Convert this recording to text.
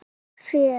Þitt fé.